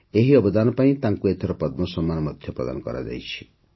ଏହି ଅବଦାନ ପାଇଁ ତାଙ୍କୁ ଏଥର ପଦ୍ମ ସମ୍ମାନ ମଧ୍ୟ ପ୍ରଦାନ କରାଯାଇଛି